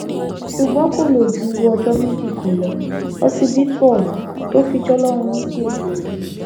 ṣùgbọn kò lò ju ọjọ méjì kan lọ lọsibítù ohun tó fi jọlọrun nípẹ